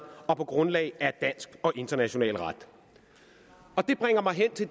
og på grundlag af dansk og international ret det bringer mig hen til